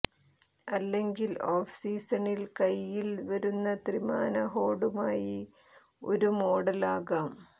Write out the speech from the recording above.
അല്ലെങ്കിൽ ഓഫ് സീസണിൽ കൈയിൽ വരുന്ന ത്രിമാന ഹോഡുമായി ഒരു മോഡൽ ആകാം